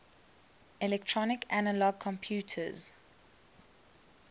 electronic analog computers